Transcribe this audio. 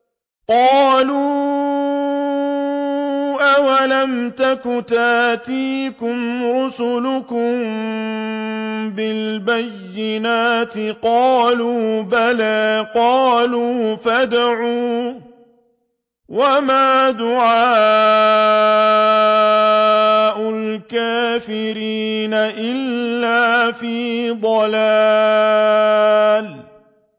قَالُوا أَوَلَمْ تَكُ تَأْتِيكُمْ رُسُلُكُم بِالْبَيِّنَاتِ ۖ قَالُوا بَلَىٰ ۚ قَالُوا فَادْعُوا ۗ وَمَا دُعَاءُ الْكَافِرِينَ إِلَّا فِي ضَلَالٍ